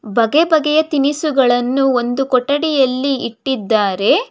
ಬಗೆ ಬಗೆಯ ತಿನಿಸುಗಳನ್ನು ಒಂದು ಕೊಠಡಿಯಲ್ಲಿ ಇಟ್ಟಿದ್ದಾರೆ.